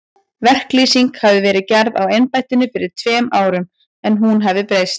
Verklýsing hafi verið gerð á embættinu fyrir tveimur árum, en hún hafi nú breyst.